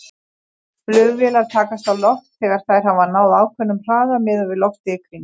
Flugvélar takast á loft þegar þær hafa náð ákveðnum hraða miðað við loftið í kring.